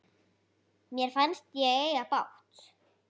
Mér fannst ég eiga bágt.